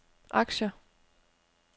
aktier